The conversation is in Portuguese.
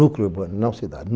Núcleo urbano, não cidade.